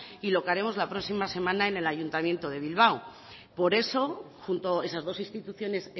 y lo que haremos la próxima semana en el ayuntamiento de bilbao por eso junto esas dos instituciones